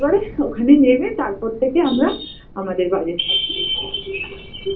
ধর ওখানে নেবে তারপর থেকে আমরা আমাদের budget